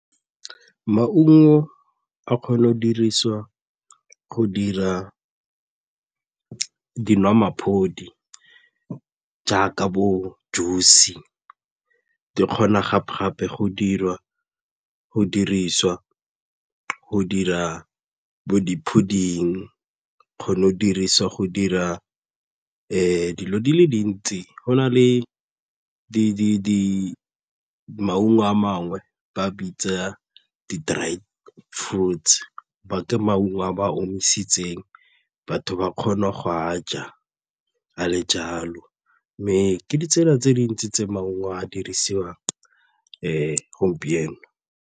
Maungo a kgona go dirisiwa go dira dinwamaphodi jaaka bo juice-se, di kgona gape-gape go dirisiwa go dira bo di-pudding-e, e kgone go dirisiwa go dira dilo di le dintsi go na le maungo a mangwe ba bitsa di-dried fruits ke maungo a ba omisitsweng batho ba kgona go a ja a le jalo mme ke ditsela tse dintsi tse maungo a dirisiwang gompieno.